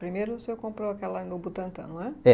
Primeiro o senhor comprou aquela no Butantã, não é?